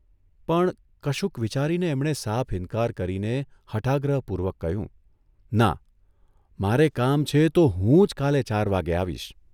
પણ કશુંક વિચારીને એમણે સાફ ઇન્કાર કરીને હઠાગ્રહપૂર્વક કહ્યું 'ના, મારે કામ છે તો હુંજ કાલે ચાર વાગ્યે આવીશ.